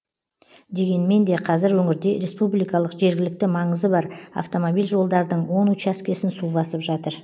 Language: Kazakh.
дегенмен де қазір өңірде республикалық жергілікті маңызы бар автомобиль жолдардың он учаскесін су басып жатыр